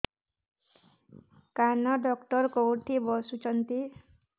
କାନ ଡକ୍ଟର କୋଉଠି ବସୁଛନ୍ତି